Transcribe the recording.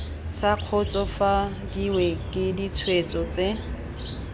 sa kgotsofadiwe ke ditshwetso tse